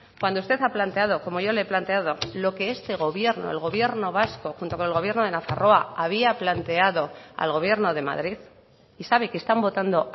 cuando usted ha planteado como yo le he planteado lo que este gobierno el gobierno vasco junto con el gobierno de nafarroa había planteado al gobierno de madrid y sabe que están votando